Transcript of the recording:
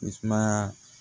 I sumaya